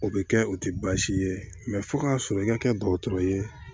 O bɛ kɛ o tɛ baasi ye fo k'a sɔrɔ i ka kɛ dɔgɔtɔrɔ ye